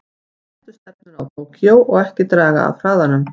Settu stefnuna á Tókýó og ekki draga af hraðanum.